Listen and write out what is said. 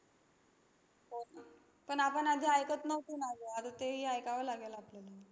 हो. पण आपण आधी ऐकत नव्हतो ना गं, आता तेही ऐकावं लागेल आपल्याला.